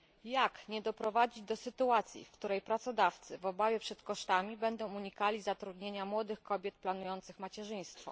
Jak nie doprowadzić do sytuacji, w której pracodawcy w obawie przed kosztami będą unikali zatrudnienia młodych kobiet planujących macierzyństwo?